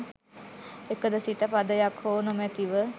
එකදු සික පදයක් හෝ නොමැතිව